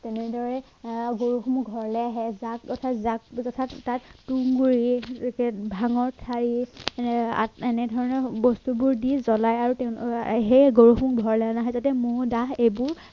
তেনেদৰে আহ গৰুহনো ঘৰলে আহে জাক অৰ্থাৎ জাক তাত ধানৰ ঠাৰি আহ এনেধৰণৰ বস্তুবোৰ দি জলাই আৰু তেনে আৰু সেয়েই গৰুহনো ঘৰলে অনা হয় যাতে মহ দাহ এইবোৰ